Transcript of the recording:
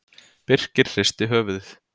Birkir hristi höfuðið.